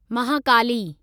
Mahakali